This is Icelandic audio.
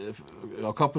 kápunni er